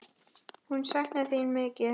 Hún saknar þín mikið.